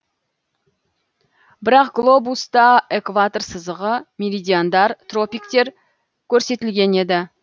бірақ глобуста экватор сызығы меридиандар тропиктер көрсетілген еді